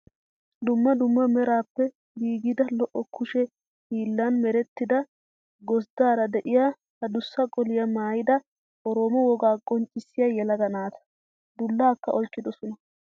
Dumma dumma meraappe giigida lo"o kushe hillan merettida gosddaara diya adussa qoliyaa maayyida oroomo wogaa qonccissiyaa yelaga naata. Dullaakka oyiqqidosonaa.